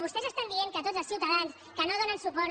vostès estan dient que tots els ciutadans que no donen suport